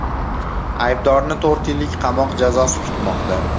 Aybdorni to‘rt yillik qamoq jazosi kutmoqda.